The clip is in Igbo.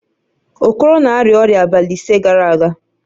Okoro na-arịa ọrịa abalị ise gara aga